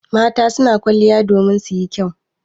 Mata su na kwaliya domin su yi kyau.